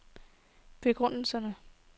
begrundelse